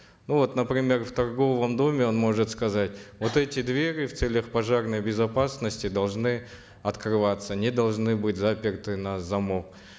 ну вот например в торговом доме он может сказать вот эти двери в целях пожарной безопасности должны открываться не должны быть заперты на замок